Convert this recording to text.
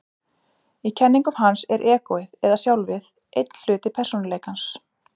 Í kenningum hans er egóið, eða sjálfið, einn hluti persónuleikans.